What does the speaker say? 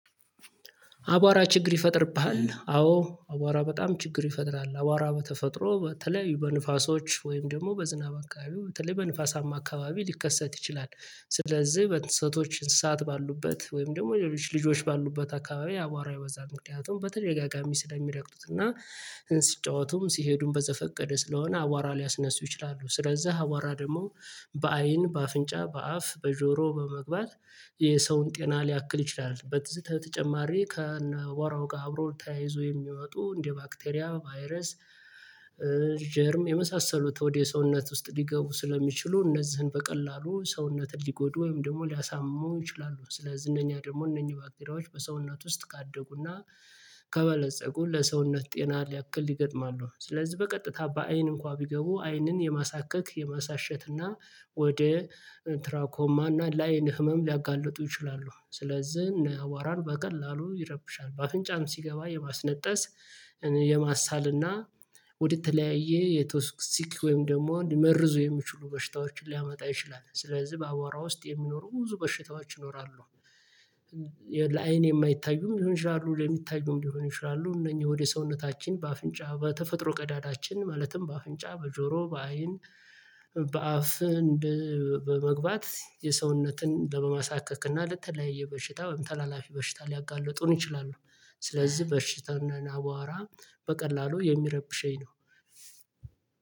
አቧራ ችግር ይፈጥርብሃል አዎ አቧራ በጣም ችግር ይፈጥራል። አቧራ በተፈጥሮ በተለይ በንፋሶች ወይም ደግሞ በዝናብ አካባቢው በተለይ በንፋሳማ አካባቢ ሊከሰት ይችላል ስለዚህ በንፈሰቶች እንስሳት ባሉበት ወይም ደግሞ ልጆች ባሉበት አካባቢ አቧራ ይበዛል፤ ምክንያት በተደጋጋሚ ስለሚረግጡት እና ሲጫወቱም ሲሄዱም በዘፈቀደ ስለሆነ አዋራ ሊያስነሱ ይችላሉ ስለዛ አዋራ ደግሞ በአይን በአፍንጫ በአፍ በጆሮ በመግባት የሰውን ጤና ሊያክል ይችላል በትዝተ ተጨማሪ ከነቧራው ጋር አብሮ ተያይዞ የሚወጡ እንደ ባክቴሪያ ቫይረስ ጀርም የመሳሰሉት ወደ ሰውነት ውስጥ ሊገቡ ስለሚችሉ እነዚህን በቀላሉ ሰውነትን ሊጎዱ ወይም ደግሞ ሊያሳሙ ይችላሉ ስለዚህ እነኛ ደግሞ እነኚህ ባክቴሪያዎች በሰውነት ውስጥ ካደጉና ከበለፀጉ ለሰውነት ጤና ሊያክል ይገጥማሉ ስለዚህ በቀጥታ በአይን እንኳን ቢገቡ አይንን የማሳከክ የማሳሸት እና ወደ ትራኮማና ላይን ህመም ሊያጋልጡ ይችላሉ ስለዚህ እነ አዋራን በቀላሉ ይረብሻሉ፤ በአፍንጫም ሲገባ የማስነጠስ የማሳል እና ወደተለያየ የተወስሲክ ወይም ደግሞ መርዙ የሚችሉ በሽታዎችን ሊያመጣ ይችላል ስለዚህ በአዋራ ውስጥ የሚኖሩ ብዙ በሽታዎች ይኖራሉ ለአይን የማይታዩም ይሆናሉ ለሚታዩም ሊሆን ይችላሉ እነኚህ ወደ ሰውነታችን በአፍንጫ በተፈጥሮ ቀዳዳችን ማለትም በአፍንጫ በጆሮ በአይን በአፍ በመግባት የሰውነትን ለመማሳከክ እና ለተለያየ በሽታ ወይም ተላላፊ በሽታ ሊያጋለጡን ይችላሉ ስለዚህ በሽታና ናቧራ በቀላሉ የሚረብሸኝ ነው።